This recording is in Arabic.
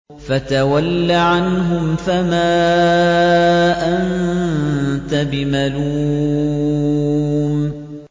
فَتَوَلَّ عَنْهُمْ فَمَا أَنتَ بِمَلُومٍ